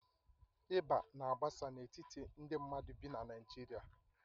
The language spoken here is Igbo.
Ịba na-agbasa n'etiti ndị mmadụ bi na Naijiria